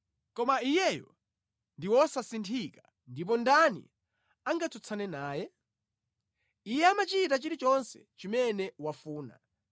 “Koma Iyeyo ndi wosasinthika, ndipo ndani angatsutsane naye? Iye amachita chilichonse chimene wafuna.